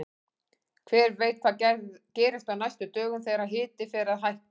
Hver veit hvað gerist á næstu dögum þegar hiti fer að hækka!